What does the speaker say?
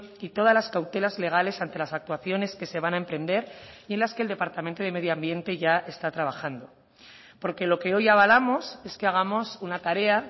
y todas las cautelas legales ante las actuaciones que se van a emprender y en las que el departamento de medio ambiente ya está trabajando porque lo que hoy avalamos es que hagamos una tarea